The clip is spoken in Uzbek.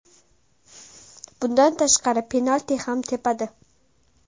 Bundan tashqari penalti ham tepadi.